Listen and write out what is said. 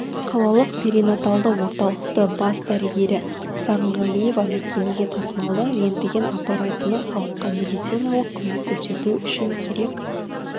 қалалық перинаталды орталықты бас дәрігері сағынғалиева мекемеге тасымалды рентген аппаратыны халыққа медициналық көмек көрсету үшін керек